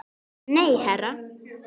Nei, herra